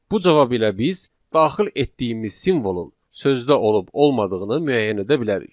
Bu cavab ilə biz daxil etdiyimiz simvolun sözdə olub olmadığını müəyyən edə bilərik.